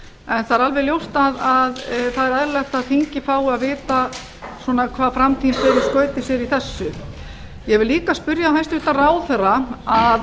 en það er alveg ljóst að það er eðlilegt að þingið fái að vita hvað framtíðin ber skauti sér í þessu ég vil líka spyrja hæstvirtan